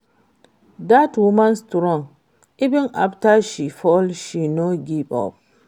Dat woman strong, even after she fail she no give up